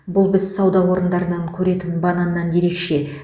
бұл біз сауда орындарынан көретін бананнан ерекше